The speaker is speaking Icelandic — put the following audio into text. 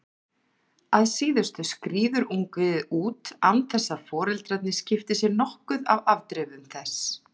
Að síðustu skríður ungviðið út án þess að foreldrarnir skipti sér nokkuð af afdrifum þess.